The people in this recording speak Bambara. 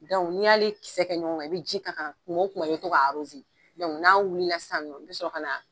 ni y'ale kisɛ kɛ ɲɔgɔn kan, i be ji k'a kan kuma wo kuma i bi tɔ ka n'a wulila sisan nɔ, i bi sɔrɔ ka na